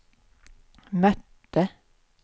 mötte